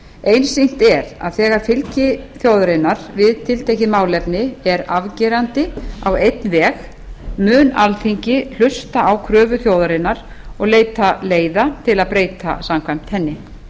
einsýnt er að þegar fylgi þjóðarinnar við tiltekið málefni er afgerandi á einn veg mun alþingi hlusta á kröfu þjóðarinnar og leita leiða til að breyta samkvæmt henni